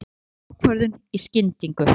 Hann tók ákvörðun í skyndingu.